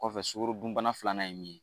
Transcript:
Kɔfɛ sukaro dunbana filanan ye min ye